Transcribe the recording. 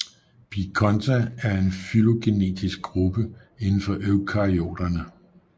Bikonta er en fylogenetisk gruppe indenfor Eukaryoterne